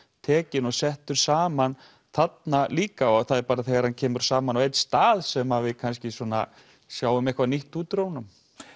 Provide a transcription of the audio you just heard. tekinn og settur saman þarna líka það er bara þegar hann kemur saman á einn stað sem að við kannski svona sjáum eitthvað nýtt út úr honum